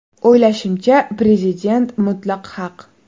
O‘ylashimcha, Prezident mutlaq haq.